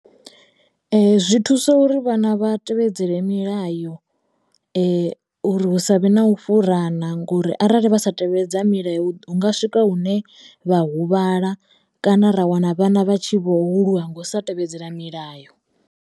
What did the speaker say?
Zwi thusa uri vhana vha tevhedzele milayo uri hu savhe na u fhurana ngori arali vha sa tevhedza milayo hunga swika hune vha huvhala kana ra wana vhana vha tshi vho u lwa ngo u sa tevhedzela milayo.